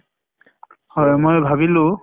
হয় মই ভাবিলো